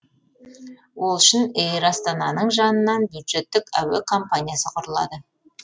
ол үшін эйр астананың жанынан бюджеттік әуе компаниясы құрылады